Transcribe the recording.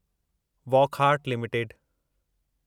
Wockhardt limited